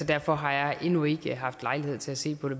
derfor har jeg endnu ikke haft lejlighed til at se på det